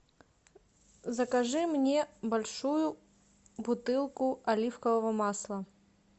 закажи мне большую бутылку оливкового масла